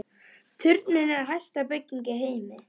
Turninn er hæsta bygging í heimi